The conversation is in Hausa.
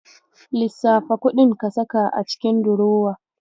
Lissafa kuɗin ka saka a cikin durowa.